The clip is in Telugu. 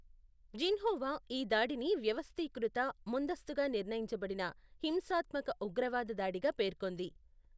జిన్హువా ఈ దాడిని వ్యవస్థీకృత, ముందస్తుగా నిర్ణయించబడిన హింసాత్మక ఉగ్రవాద దాడిగా పేర్కొంది.